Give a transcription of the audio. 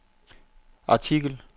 artikel